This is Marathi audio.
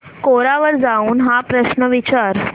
कोरा वर जाऊन हा प्रश्न विचार